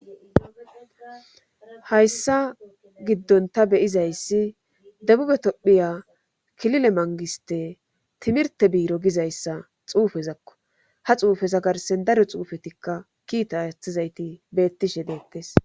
hayssa giddon ta beyizayssi debube tophiya kilile mangiste timirte biiro gizayssa xuufezakko ha xuufeza garsen daro xuufetikka kiita athizayti beettishe deettes